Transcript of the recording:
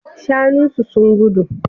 Shanun su sun gudu